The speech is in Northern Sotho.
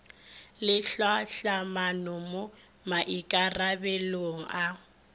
le tlhahlamano mo maikarabelong a